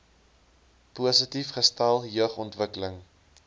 positief gestel jeugontwikkeling